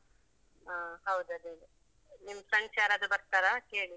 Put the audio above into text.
ಹ ಹೌದು ಅದೇ ನಿಮ್ friends ಯಾರಾದ್ರು ಬರ್ತಾರ ಕೇಳಿ?